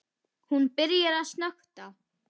Hún byrjar að snökta.